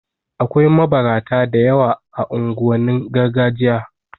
Akwai mabarata da yawa a unguwannin gargajiya